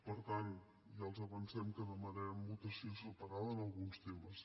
per tant ja els avancem que demanarem votació separada en alguns temes